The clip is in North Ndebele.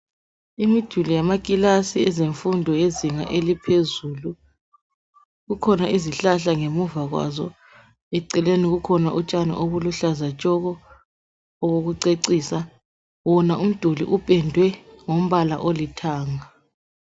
Imiduli yamakilasi ezemfundo yezinga elophezulu kukhona kukhona izihlahla ngemuva kwazo eceleni kukhona utshani obuluhlaza tshoko obokucecisa, wona uduli upendwe ngombala olithanga.